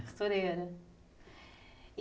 Costureira.